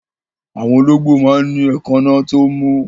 Àwọn olóńgbò máa ń ní èékánná tí ó mú.